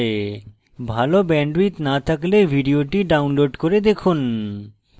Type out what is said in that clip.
ভাল bandwidth না থাকলে ভিডিওটি download করে দেখুন